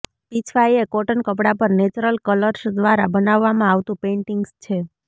પિછવાઈ એ કોટન કપડાં પર નેચરલ કલર્સ દ્વારા બનાવવામાં આવતું પેઈન્ટિંગ્સ છે